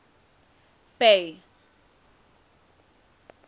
bay